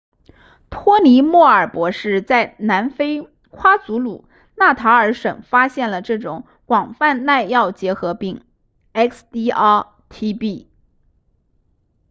托尼莫尔博士在南非夸祖鲁纳塔尔省发现了这种广泛耐药结核病 xdr-tb